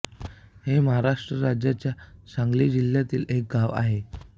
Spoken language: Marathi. हे महाराष्ट्र राज्याच्या सांगली जिल्ह्यातील एक गाव आहे